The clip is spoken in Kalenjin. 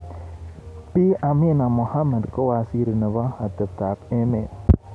Bi Amina Mohammed kowaziri nebo atebtak emet.